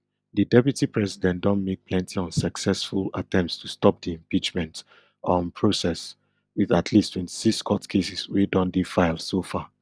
di deputy president don make plenty unsuccessful attempts to stop di impeachment um process with at least twenty-six court cases wey don dey filed so far